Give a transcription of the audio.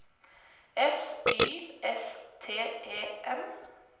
S Y S T E M